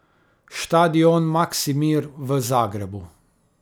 Štadion Maksimir v Zagrebu.